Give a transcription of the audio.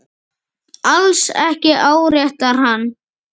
Alls ekki áréttar hann.